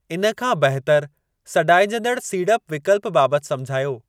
इन खां बहितर सॾाइजंदड़ सीड़प विकल्प बाबति समिझायो।